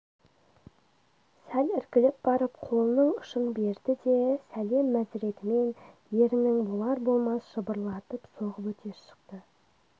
сәл іркіліп барып қолының ұшын берді де сәлем мәзіретімен ерінін болар-болмас жыбырлатып сырғып өте шықты